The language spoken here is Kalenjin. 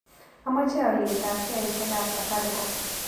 Amache alyetap sheaisiekap safaricom